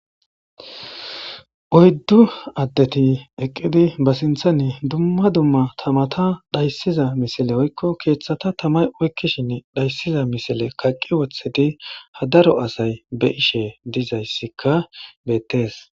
Oyddu addeti eqqidi ba sinthani dumma dumma tamata dhayssiza misile oykko keeththata tamay oykkishin dhayssiza misile kaqqi wothedi hadaro asay be ishe dizayssikka beettees.